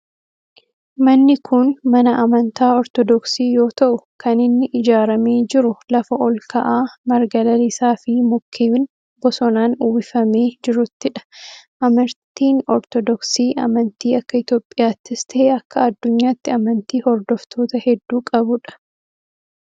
Manni kun mana amantaa ortodoksii yoo ta'u kan inni ijaaramee jiru lafa olka'aa marga lalisaa fi mukkeen bosonaan uwwifamee jiruttidha. amantiin ortodoksii amantii akka Itiyoophiyaattis ta'e akka adduunyaatti amantii hordoftoota hedduu qabudha.